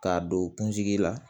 K'a don kunsigi la